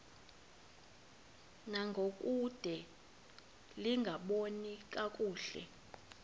ngangokude lingaboni kakuhle